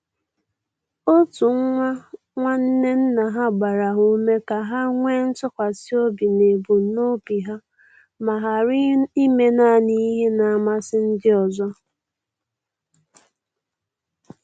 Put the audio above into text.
Otu nwa nwanne nna ha gbara ha ume ka ha nwee ntụkwasi obi n'ebumnobi ha ma ghara ime naanị ihe na-amasị ndị ọzọ.